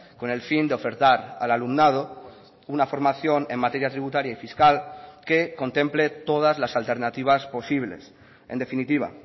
con el fin de ofertar al alumnado una formación en materia tributaria y fiscal que contemple todas las alternativas posibles en definitiva